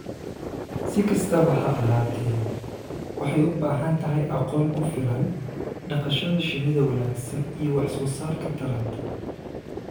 Si kastaba ha ahaatee, waxay u baahan tahay aqoon ku filan, dhaqashada shinida wanaagsan iyo wax soo saarka taranta,